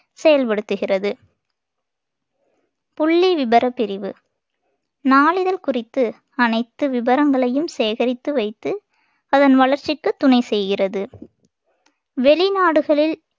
செயல்படுத்துகிறது புள்ளி விபரப் பிரிவு நாளிதழ் குறித்து அனைத்து விபரங்களையும் சேகரித்து வைத்து அதன் வளர்ச்சிக்கு துணை செய்கிறது வெளிநாடுகளில்